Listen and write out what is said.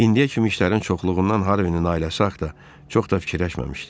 İndiyə kimi işlərin çoxluğundan Harvinin ailəsi haqda çox da fikirləşməmişdi.